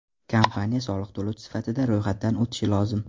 Kompaniya soliq to‘lovchi sifatida ro‘yxatdan o‘tishi lozim.